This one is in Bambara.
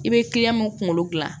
I bɛ mun kunkolo gilan